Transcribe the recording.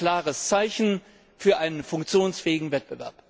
Er setzt ein klares Zeichen für einen funktionsfähigen Wettbewerb.